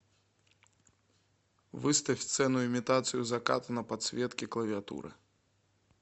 выставь сцену имитацию заката на подсветке клавиатуры